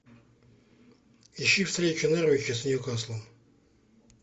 ищи встречу норвича с ньюкаслом